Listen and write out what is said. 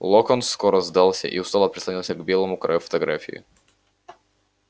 локонс скоро сдался и устало прислонился к белому краю фотографии